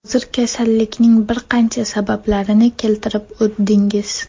Hozir kasallikning bir qancha sabablarni keltirib o‘tdingiz.